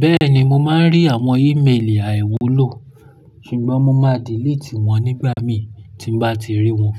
Bẹ́ẹ̀ni mo máa ń rí àwọn ímeèlì àìwúlò, ṣùgbọ́n mo máa diilitì wọ́n nígbà mí tí n bá ti rí wọ́n.